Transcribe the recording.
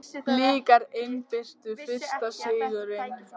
Blikar innbyrtu fyrsta sigurinn